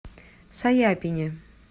саяпине